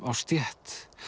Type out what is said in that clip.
á stétt